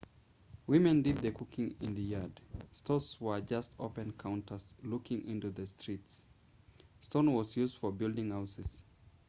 women did the cooking in the yard stores were just open counters looking into the street stone was used for building houses